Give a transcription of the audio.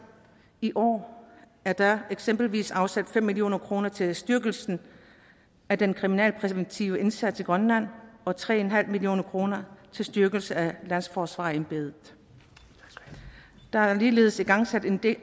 i år er der eksempelvis afsat fem million kroner til styrkelse af den kriminalpræventive indsats i grønland og tre million kroner til styrkelse af landsforsvarerembedet der er ligeledes igangsat en